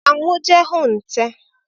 Ka m jee hụ nte